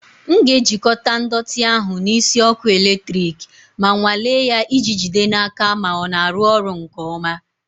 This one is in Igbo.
M ga-ejikọta ndọtị ahụ na isi ọkụ eletrik ma nwalee ya iji jide n'aka ma ọ na-arụ ọrụ nke ọma.